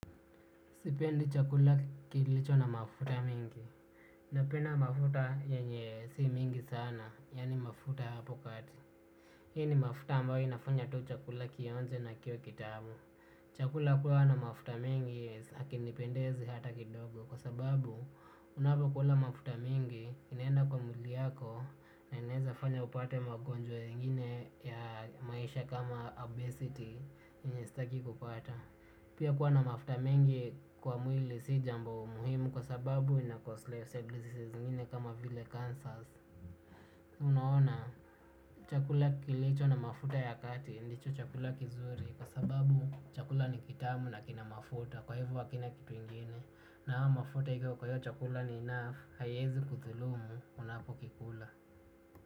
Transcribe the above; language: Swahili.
Sipendi chakula kilicho na mafuta mingi. Napenda mafuta yenye si mingi sana. Yani mafuta hapo kati. Hii ni mafuta ambayo inafanya tu chakula kionje na kiwe kitabu. Chakula kuwa na mafuta mingi hakinipendezi hata kidogo. Kwa sababu unapo kuwa na mafuta mingi inaenda kwa mwili yako. Na inaweza fanya upate magonjwa mengine ya maisha kama obesity yenye sitaki kupata. Pia kuwa na mafuta mengi kwa mwili sijambo muhimu kwa sababu ina kwa slave services zingine kama vile cancers. Unaona chakula kilicho na mafuta ya kati ndicho chakula kizuri. Kwa sababu chakula ni kitamu na kinamafuta kwa hivo hakina kitu ingine. Na haya mafuta hiko kwa hiyo chakula ni enough hayezi kuthulumu unapo kikula.